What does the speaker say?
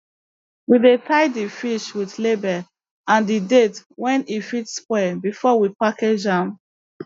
we dey tie di fish with label and di date wen e fit spoil before we package am